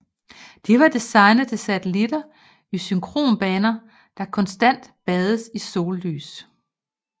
De var designet til satellitter i synkronbanen der konstant bades i sollys